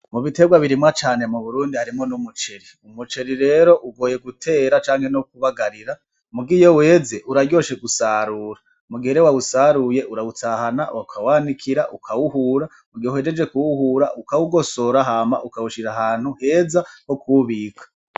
Mu biterwa birimwa cane mu Burundi harimwo n'umuceri, umuceri rero ugoye gutera canke no kubagarira muga iyo weze uraryoshe gusarura, mu gihe rero wawusaruye urawutahana; ukawanikira ;ukawuhura; mu gihe uhejeje kuwuhura ; ukawugosora hama ukawushira ahantu heza ho kuwubika.